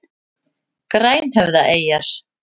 Grænhöfðaeyjar